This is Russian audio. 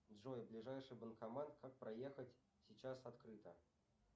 джой ближайший банкомат как проехать сейчас открыто